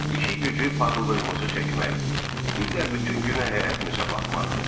İşi-gücü paxıllığımızı çəkmək, bir də bütün günü həyətimizə baxmaqdır.